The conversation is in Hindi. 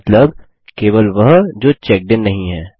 मतलब केवल वह जो चेक्डइन नहीं हैं